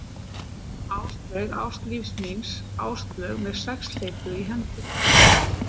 Áslaug, ást lífs míns, Áslaug með sexhleypu í hendi.